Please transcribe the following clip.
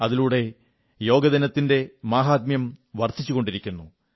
അതിലൂടെ യോഗദിനത്തിന്റെ മാഹാത്മ്യം വർധിച്ചുകൊണ്ടിരിക്കുന്നു